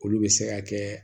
Olu bɛ se ka kɛ